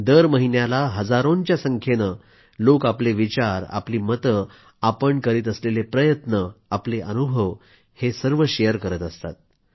दर महिन्याला हजारोंच्या संख्येनं लोक आपले विचार मते आपण करीत असलेले प्रयत्न आपले अनुभव शेअर करत असतात